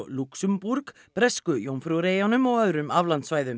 Lúxemborg Bresku Jómfrúreyjum og öðrum aflandssvæðum